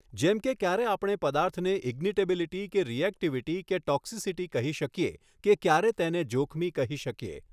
જેમ કે ક્યારે આપણે પદાર્થને ઇગ્નીટેબીલીટી કે રિએક્ટિવિટી કે ટોક્સિસિટી કહી શકીએ કે ક્યારે તેને જોખમી કહી શકીએ.